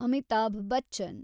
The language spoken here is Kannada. ಅಮಿತಾಭ್ ಬಚ್ಚನ್